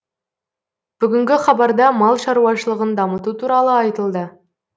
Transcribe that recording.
бүгінгі хабарда мал шаруашылығын дамыту туралы айтылды